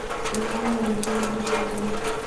светлане андреевне шутовой